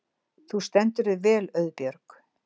Þú stendur þig vel, Auðbjörg!